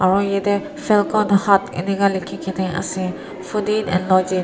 aru yattei falcon hut eninka likhe kina ase fooding and loadging --